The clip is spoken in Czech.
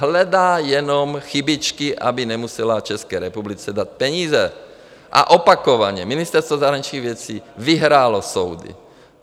Hledá jenom chybičky, aby nemusela České republice dát peníze, a opakovaně Ministerstvo zahraničních věcí vyhrálo soudy.